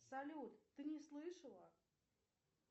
салют ты не слышала